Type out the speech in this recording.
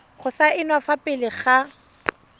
go saenwa fa pele ga